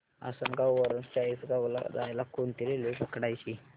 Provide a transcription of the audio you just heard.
आसनगाव वरून चाळीसगाव ला जायला कोणती रेल्वे पकडायची